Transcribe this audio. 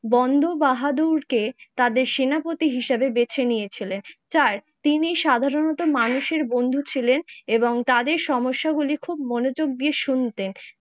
বন্দ বাহাদুরকে তাদের সেনাপতি হিসেবে বেছে নিয়েছিলেন। চার তিনি সাধারণত মানুষের বন্ধু ছিলেন তাদের সমস্যাগুলি খুব মনোযোগ দিয়ে শুনতেন।